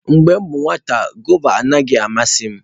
Mgbe m bụ nwata, gụva anaghị amasị m.